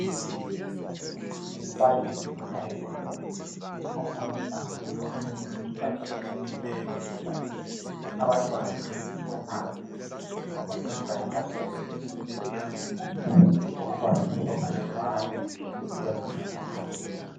umbalisi wesayensi ofundisa abantwana isubject esiyibiza sisthi yisayensi abantwana ngabe zinga laphansi eslibizasisithi lona yi primary level okubalisa ograde 1 kusiyacina kugrade 7